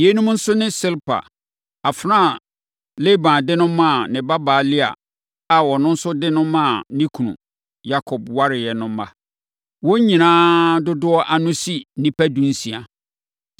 Yeinom nso ne Silpa, afenaa a Laban de no maa ne babaa Lea a ɔno nso de no maa ne kunu Yakob wareeɛ no mma. Wɔn nyinaa dodoɔ ano si nnipa dunsia.